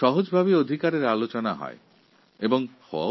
এই অধিকার সম্বন্ধে অনেক আলোচনা হয় যা সঠিক